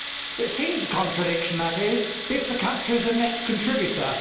It seems a contradiction, that is, if the country is a net contributor.